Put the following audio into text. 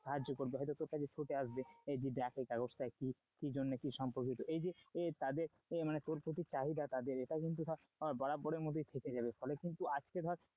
সাহায্য করবে হয়তো তোর কাছে ছুটে আসবে এই যে যাকে এই কাগজটাকে কি জন্য কি সম্পর্কিত এই যে তাদের তোর প্রতি চাহিদা, এটা কিন্তু বরাবরের মধ্যে থেকে যাবে ফলে কিন্তু আজকে ধর,